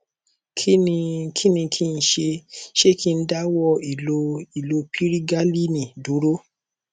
kí ni kí n ṣe ṣé kí n dáwọ ìlo ìlo pirigalíìnì dúró